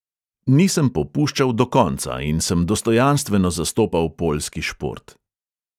Nisem popuščal do konca in sem dostojanstveno zastopal poljski šport.